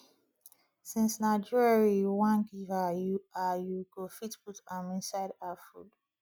since na jewelry you wan give her you her you go fit put am inside her food